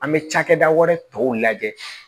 An bɛ cakɛda wɛrɛ tɔw lajɛ